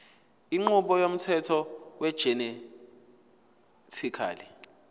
inqubo yomthetho wegenetically